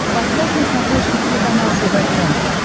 поставь на смотрешке телеканал тв центр